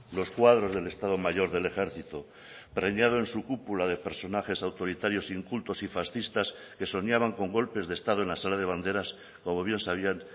los cuadros del estado mayor del ejército preñado en su cúpula de personajes autoritarios incultos y fascistas que soñaban con golpes de estado en la sala de banderas como bien sabían